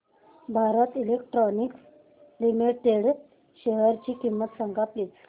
Bharat electronics limited शेअरची किंमत सांगा प्लीज